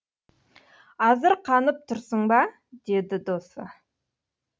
азырқанып тұрсың ба деді досы